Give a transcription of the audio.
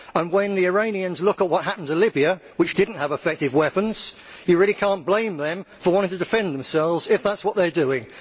When the Iranians look at what happened to Libya which did not have effective weapons you really cannot blame them for wanting to defend themselves, if that is what they are doing.